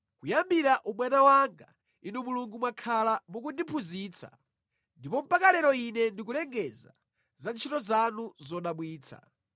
Kuyambira ubwana wanga, Inu Mulungu mwakhala mukundiphunzitsa, ndipo mpaka lero ine ndikulengeza za ntchito zanu zodabwitsa